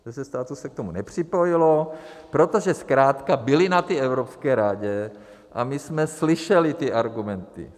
Deset států se k tomu nepřipojilo, protože zkrátka byly na té Evropské radě a my jsme slyšeli ty argumenty.